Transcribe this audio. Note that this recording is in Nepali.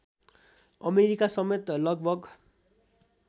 अमेरिकासमेत लगभग